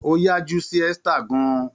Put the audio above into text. Ó yájú sí Esther gan-an.